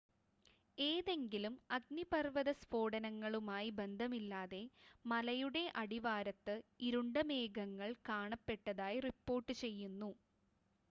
ഏതെങ്കിലും അഗ്നിപർവ്വത സ്ഫോടനങ്ങളുമായി ബന്ധമില്ലാതെ മലയുടെ അടിവാരത്ത് ഇരുണ്ട മേഘങ്ങൾ കാണപ്പെട്ടതായി റിപ്പോർട്ട് ചെയ്യുന്നു